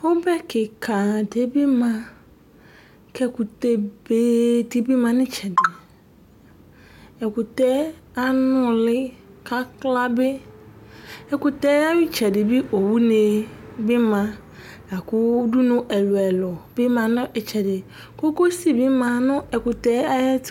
Ɔbɛ kika di bi ma Ku ɛkutɛ be di bi ma nu itsɛdi Ɛkutɛ anuli ku akla bi Ɛkutɛ ayu itsɛdi bi owuni bi ma La ku udunu ɛlu ɛlu bi ma nu itsɛdi Kokosi bi ma nu ɛkutɛ ayu